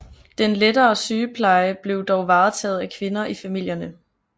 Den lettere sygepleje blev dog varetaget af kvinder i familierne